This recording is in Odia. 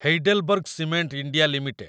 Heidelberg cement India limited